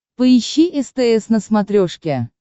поищи стс на смотрешке